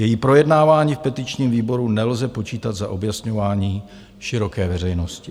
Její projednávání v petičním výboru nelze počítat za objasňování široké veřejnosti.